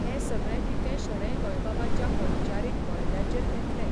हें सगळें कितें शणै गोंयबाबाच्या वैचारीक बळग्याचेर घेतलें.